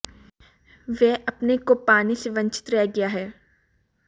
वह अपने को पाने से वंचित रह गया है